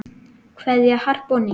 Kveðja, Harpa og Nína.